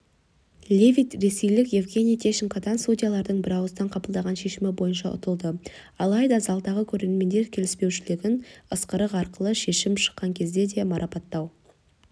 левит ресейлік евгений тищенкодан судьялардың бірауыздан қабылдаған шешімі бойынша ұтылды алайда залдағы көрермендер келіспеушіліктерін ысқырық арқылы шешім шыққан кезде де марапаттау